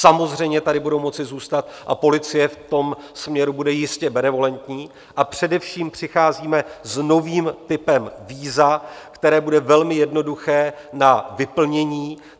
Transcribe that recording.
Samozřejmě tady budou moci zůstat a policie v tom směru bude jistě benevolentní, a především přicházíme s novým typem víza, které bude velmi jednoduché na vyplnění.